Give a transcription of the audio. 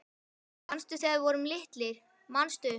Manstu þegar við vorum litlir, manstu